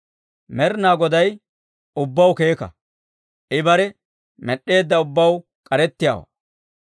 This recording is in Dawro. Med'inaa Goday ubbaw keeka; I bare med'd'eedda ubbaw k'arettiyaawaa.